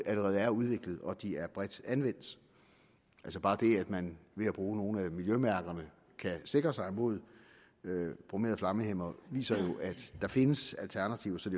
allerede er udviklet og de er bredt anvendt altså bare det at man ved at bruge nogle af miljømærkerne kan sikre sig mod bromerede flammehæmmere viser jo at der findes alternativer så